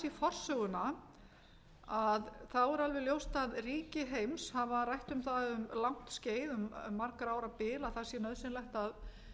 í forsöguna er alveg ljóst að ríki heims hafa rætt um það um langt skeið margra ára bil að það sé nauðsynlegt að